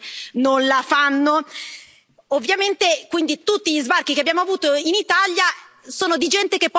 Ovviamente, quindi, tutti gli sbarchi che abbiamo avuto in Italia sono di gente che poi è rimasta lì e rimane